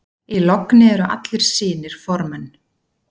Í logni eru allir synir formenn.